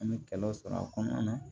An bɛ kɛlɛw sɔrɔ a kɔnɔna na